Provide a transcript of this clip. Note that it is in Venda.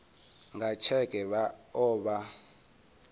nga tsheke vha o vha